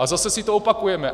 A zase si to opakujeme.